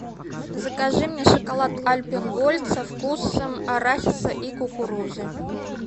закажи мне шоколад альпен гольд со вкусом арахиса и кукурузы